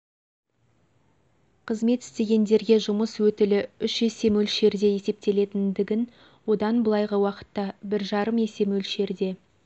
қызмет ісітегендерге жұмыс өтілі үш есе мөлшерде есептелінетіндігін одан былайғы уақытта бір жарым есе мөлшерде